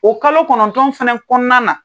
O kalo kɔnɔntɔn fɛnɛ kɔɔna na